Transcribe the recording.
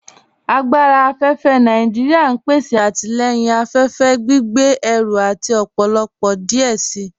Agbára afẹ́fẹ́ Nàìjíríà n pèsè àtilẹ̀yìn afẹ́fẹ́, gbìgbé ẹ̀rù àti ọ̀pọ̀lọ̀pọ̀ díẹ̀ sí.